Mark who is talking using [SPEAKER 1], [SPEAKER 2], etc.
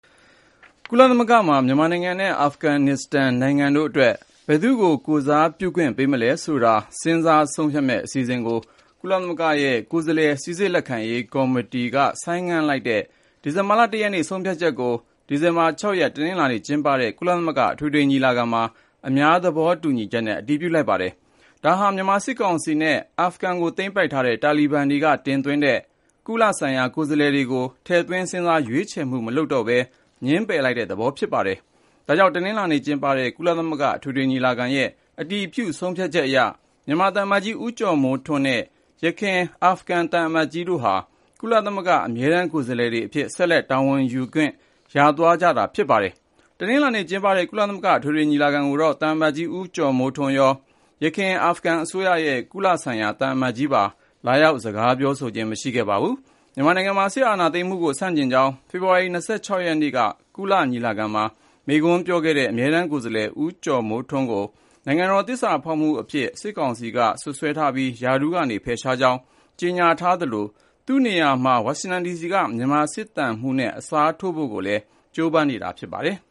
[SPEAKER 1] ကုလသမဂ္ဂမှာ မြန်မာနိုင်ငံနဲ့ အာဖဂန်နစ္စတန် နိုင်ငံတို့အတွက် ဘယ်သူ့ကို ကိုယ်စားပြုခွင့် ပေးမလဲဆိုတာ စဉ်းစားဆုံးဖြတ်မယ့် အစီအစဉ်ကို ကုလသမဂ္ဂရဲ့ ကိုယ်စားလှယ် စိစစ်လက်ခံရေး ကော်မတီ (Credentials Committee) က ဆိုင်းငံ့လိုက်တဲ့ ဒီဇင်ဘာလ ၁ ရက်နေ့ ဆုံးဖြတ်ချက်ကို ဒီဇင်ဘာ ၆ ရက် တနင်္လာနေ့ကျင်းပတဲ့ ကုလသမဂ္ဂ အထွေထွေညီလာခံမှာ အများသဘောတူညီချက်နဲ့ အတည်ပြုလိုက်ကြပါတယ်။ ဒါဟာ မြန်မာစစ်ကောင်စီနဲ့ အာဖဂန်ကို သိမ်းပိုက်ခဲ့တဲ့ တာလီဘန်တွေက တင်သွင်းတဲ့ ကုလဆိုင်ရာ ကိုယ်စားလှယ်တွေကို ထည့်သွင်းစဉ်းစားရွေးချယ်မှု မလုပ်တော့ဘဲ ငြင်းပယ်လိုက်တဲ့ သဘောလည်း ဖြစ်ပါတယ်။ ဒါ့ကြောင့် တနင်္လာနေ့ကျင်းပတဲ့ ကုလသမဂ္ဂ အထွေထွေညီလာခံရဲ့ အတည်ပြု ဆုံးဖြတ်ချက်အရ မြန်မာသံအမတ်ကြီး ဦးကျော်မိုးထွန်းနဲ့ ယခင် အာဖဂန်သံအမတ်ကြီးတို့ဟာ ကုလသမဂ္ဂ အမြဲတမ်း ကိုယ်စားလှယ်တွေအဖြစ် ဆက်လက် တာဝန်ယူခွင့် ရသွားပါတယ်။ တနင်္လာနေ့ကျင်းပတဲ့ ကုလသမဂ္ဂ အထွေထွေညီလာခံကိုတော့ သံအမတ်ကြီး ဦးကျော်မိုးထွန်းရော ယခင် အာဖဂန်အစိုးရရဲ့ ကုလဆိုင်ရာ သံအမတ်ကြီးပါ လာရောက်စကားပြောဆိုခြင်း မရှိခဲ့ပါဘူး။ မြန်မာနိုင်ငံမှာ စစ်အာဏာသိမ်းမှုကို ဆန့်ကျင်ကြောင်း ဖေဖော်ဝါရီ ၂၆ ရက်နေ့က ကုလသမဂ္ဂ ညီလာခံမှာ မိန့်ခွန်းပြောခဲ့တဲ့ အမြဲတမ်းကိုယ်စားလှယ် ဦးကျော်မိုးထွန်းကို နိုင်ငံတော်သစ္စာဖောက်အဖြစ် စစ်ကောင်စီက စွပ်စွဲထားပြီး ရာထူးက ဖယ်ရှားကြောင်း ကြေညာထားသလို သူ့နေရာမှာ ဝါရှင်တန်ဒီစီက မြန်မာစစ်သံမှူးနဲ့ အစားထိုးဖို့ကိုလည်း ကြိုးပမ်းနေတာ ဖြစ်ပါတယ်